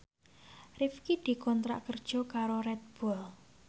Rifqi dikontrak kerja karo Red Bull